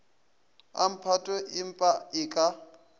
a mphato empa e ka